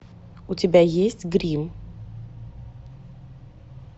у тебя есть гримм